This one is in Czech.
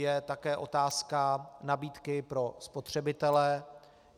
Je také otázka nabídky pro spotřebitele.